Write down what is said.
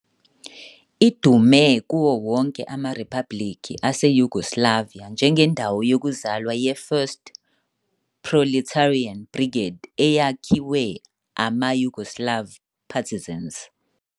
Idume kuwo wonke amaRiphabhulikhi aseYugoslavia njengendawo yokuzalwa ye- 1st Proletarian Brigade eyakhiwe ama- Yugoslav Partisans.